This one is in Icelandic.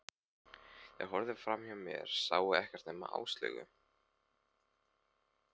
Þeir horfðu framhjá mér, sáu ekkert nema Áslaugu.